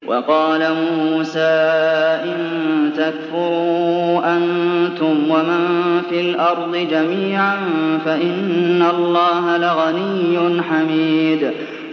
وَقَالَ مُوسَىٰ إِن تَكْفُرُوا أَنتُمْ وَمَن فِي الْأَرْضِ جَمِيعًا فَإِنَّ اللَّهَ لَغَنِيٌّ حَمِيدٌ